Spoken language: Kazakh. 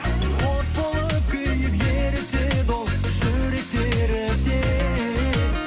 от болып күйіп ерітеді ол жүректі ерітеді